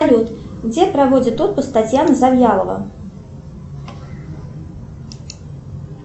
салют где проводит отпуск татьяна завьялова